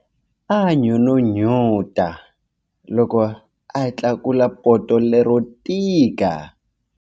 A n'unun'uta loko a tlakula poto lero tika.